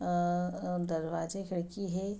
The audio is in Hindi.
अ अ दरवाजे खिड़की है।